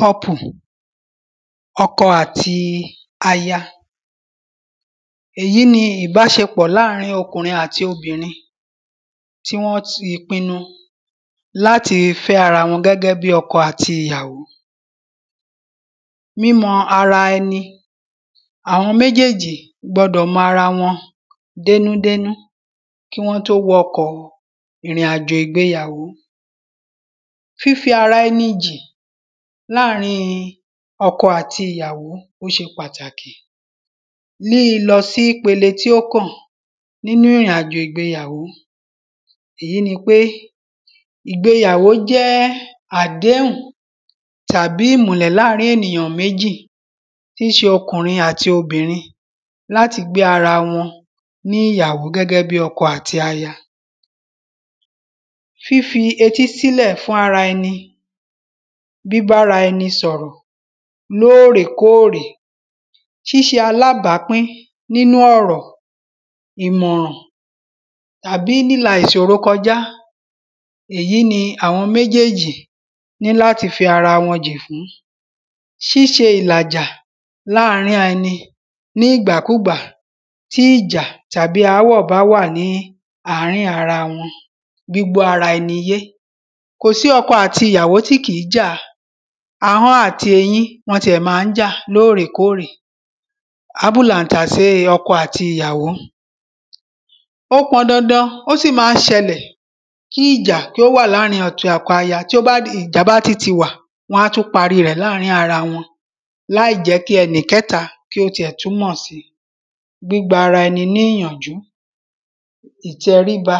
Kọ́pù ọkọ àti aya. Èyí ni ìbáṣepọ̀ láàrin ọkùnrin àti obìnrin tí wọ́n ti pinu láti fẹ́ ara wọn gẹ́gẹ́ bí ọkọ àti ìyàwó. Mímọ ara ẹni àwọn méjéèjì gbọdọ̀ mọ ara wọn dénú dénú kí wọ́n ó tó wọ ọkọ̀ ìrìn àjò ìgbeyàwó. Fífi ara ẹni jì láàrin ọkọ àti ìyàwó ó ṣe pàtàkì ní lílọ sí ipele tí ó kàn nínú ìrìn àjò ìgbeyàwó. Èyí ni pé ìgbeyàwó jẹ́ àdéhùn tàbí ìmùlẹ̀ láàrin ènìyàn méjì tí ṣe ọkùnrin àti obìnrin láti gbé ara wọn ní ìyàwó gẹ́gẹ́ bí ọkọ àti aya. Fífí etí sílẹ̀ fún ara ẹni bíbára ẹni sọ̀rọ̀ lórèkórè ṣíṣe alábàpín nínú ọ̀rọ̀ ìmọ̀ràn tàbí lílà ìṣòro kọjá èyí ni àwọn méjéèjì ní láti fi ara wọn jì fún. Ṣíṣe ìlàjà láàrin ara ẹni ní ìgbàkúgbà tí ìjà tàbí ááwọ̀ bá wà ní àárín wọn gbígbọ́ ara ẹni yé. Kò sí ọkọ àti ìyàwó tí kìí jà ahọ́n àti eyín wọ́n ti ẹ̀ má ń jà lórèkórè àbúlà ń tàsé ọkọ àti ìyàwó. Ó pọn dandan ó sì má ń ṣẹlẹ̀ kí ìjà kí ó wà láàrin ọkọ àti aya tí ó bá di tí ìjà bá ti wà wọ́n á tún parí rẹ̀ láàrin ara wọn láìjẹ́ kí ẹni kẹ́ta kí ó ti ẹ̀ tún mọ̀ sí. Gbígba ara ẹni ní ìyànjú ìtẹríba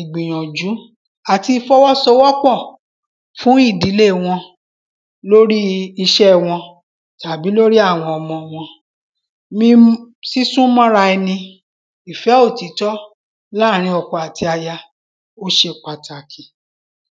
ìgbìyànjú àti ìfọwọ́sowọ́pọ̀ fún ìdílé wọn lórí iṣẹ́ wọn tàbí lórí àwọn ọmọ wọn ní sísún mọ́ra ẹni ìfẹ́ òtítọ́ láàrin ọkọ àti aya ó ṣe pàtàkì.